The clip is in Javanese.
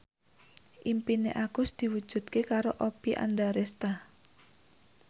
impine Agus diwujudke karo Oppie Andaresta